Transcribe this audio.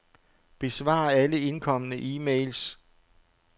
Besvar alle indkomne e-mails.